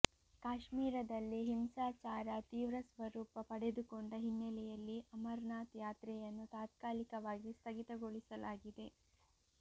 ಕಾಶ್ಮೀರದಲ್ಲಿ ಹಿಂಸಾಚಾರ ತೀವ್ರ ಸ್ವರೂಪ ಪಡೆದುಕೊಂಡ ಹಿನ್ನಲೆಯಲ್ಲಿ ಅಮರನಾಥ್ ಯಾತ್ರೆಯನ್ನು ತಾತ್ಕಾಲಿಕವಾಗಿ ಸ್ಥಗಿತಗೊಳಿಸಲಾಗಿದೆ